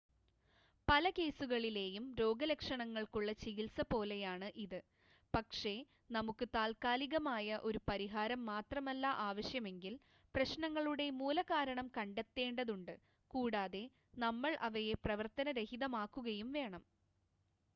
പല കേസുകളിലെയും രോഗലക്ഷണങ്ങൾക്കുള്ള ചികിത്സ പോലെയാണ് ഇത് പക്ഷേ നമുക്ക് താത്ക്കാലികമായ ഒരു പരിഹാരം മാത്രമല്ല ആവശ്യമെങ്കിൽ പ്രശ്നങ്ങളുടെ മൂലകാരണം കണ്ടെത്തേണ്ടതുണ്ട് കൂടാതെ നമ്മൾ അവയെ പ്രവർത്തന രഹിതമാക്കുകയും വേണം